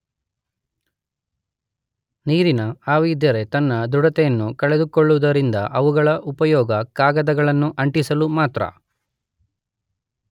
ನೀರಿನ ಆವಿಯಿದ್ದರೆ ತನ್ನ ದೃಢತೆಯನ್ನು ಕಳೆದುಕೊಳ್ಳುವುದರಿಂದ ಅವುಗಳ ಉಪಯೋಗ ಕಾಗದಗಳನ್ನು ಅಂಟಿಸಲು ಮಾತ್ರ.